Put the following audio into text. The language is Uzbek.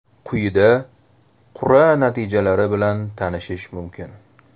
Quyida qur’a natijalari bilan tanishish mumkin.